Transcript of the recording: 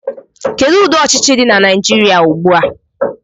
Kedu ụdị ọchịchị dị na Naijiria ugbu a?